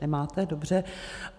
Nemáte, dobře.